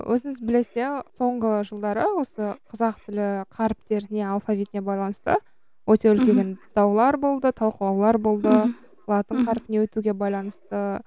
өзіңіз білесіз иә соңғы жылдары осы қазақ тілі қаріптеріне алфавитіне байланысты өте үлкен даулар болды талқылаулар болды мхм латын қарпіне өтуге байланысты